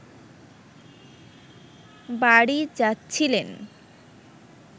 বাড়ি যাচ্ছিলেন